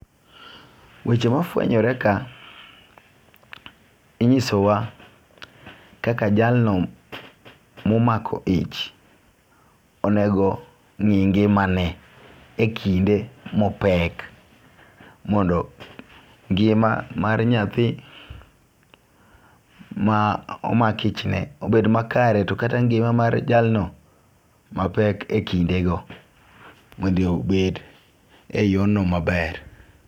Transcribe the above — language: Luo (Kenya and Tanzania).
Weche ma fwenyore ka inyiso wa kaka jalno momako ich onego ng'i ngimane e kinde mopek mondo ngima mar nyathi ma omak ichne obed makare. To kata ngima mar jalno mapek ekinde go mondo obed e yo no maber.